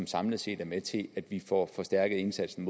samlet set er med til at vi får forstærket indsatsen